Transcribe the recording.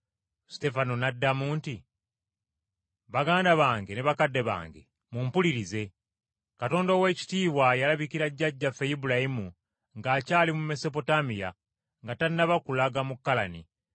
Suteefano n’addamu nti, “Baganda bange ne bakadde bange, mumpulirize! Katonda ow’ekitiibwa yalabikira jjajjaffe Ibulayimu ng’akyali mu Mesopotamiya, nga tannaba kulaga mu Kalani.